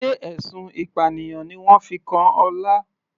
Sé ẹ̀sùn ìpànìyàn ni wọ́n fi kan Ọlá.